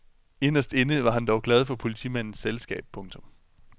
Inderst inde var han dog glad for politimandens selskab. punktum